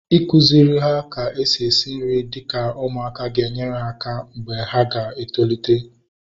Ịkụziri ha ka-esi esi nri dịka ụmụaka ga enyere ha aka mgbe ha tolite